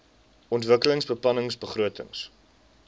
ontwikkelingsbeplanningbegrotings